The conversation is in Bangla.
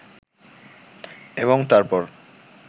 এবং তারপর